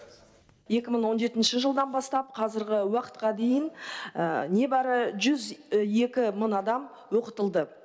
екі мың он жетінші жылдан бастап қазіргі уақытқа дейін небәрі жүз екі мың адам оқытылды